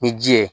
Ni ji ye